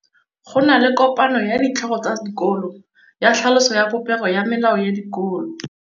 Go na le kopanô ya ditlhogo tsa dikolo ya tlhaloso ya popêgô ya melao ya dikolo.